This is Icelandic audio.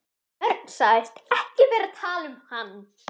Örn sagðist ekki vera að tala um hann.